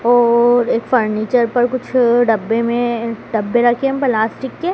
और एक फर्नीचर पर कुछ डब्बे में डब्बे रखें प्लास्टिक के।